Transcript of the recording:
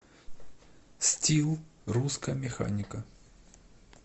стил русская механика